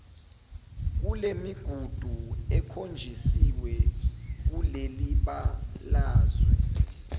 kulemigudu ekhonjisiwe kulelibalazwe